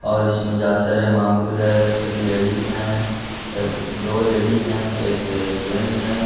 और इसमें है एक लेडीज है एक दो लेडीज हैं एक जेन्ट्स है।